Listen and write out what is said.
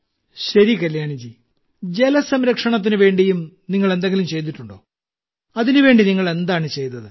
ശരി കല്യാണി ജി ജലസംരക്ഷണത്തിനുവേണ്ടിയും നിങ്ങൾ എന്തെങ്കിലും ചെയ്തിട്ടുണ്ടോ അതിനുവേണ്ടി നിങ്ങൾ എന്താണ് ചെയ്തത്